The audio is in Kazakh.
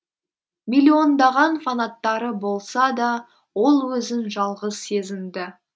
миллиондаған фанаттары болса да ол өзін жалғыз сезінді